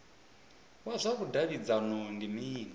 wa zwa vhudavhidzano ndi mini